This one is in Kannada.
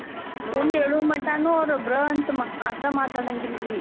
ಉಂಡ ಏಳು ಮಟಾನೂ ಅವ್ರು ಬ್ರ್ ಅಂತ್ ಮತ ಮಾತ ಮಾತಾಡಂಗಿಲ್ರೀ.